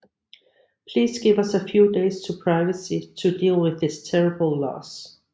Please give us a few days of privacy to deal with this terrible loss